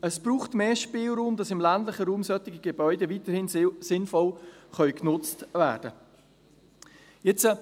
Es braucht mehr Spielraum, damit solche Gebäude im ländlichen Raum weiterhin sinnvoll genutzt werden können.